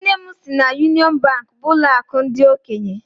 Nne m sị na Yunịọn Bankị bụ ụlọakụ ndị okenye.